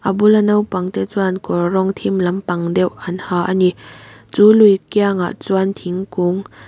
a bula naupang te chuan kawr rawng thim lampang deuh an ha ani chu lui kiangah chuan thingkung--